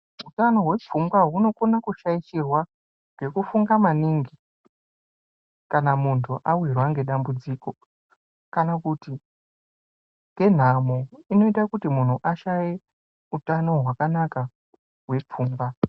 Utano hwepfungwa hunokona kushaishirwa ngekufunga maningi kana muntu awirwa ngedambudziko, kana kuti ngenhamo inoita kuti munhu ashaye utano hwakanaka hwepfungwa.